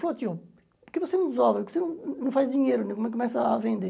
Falou, tio, porque você não desova, porque você não faz dinheiro, né come começa a vender?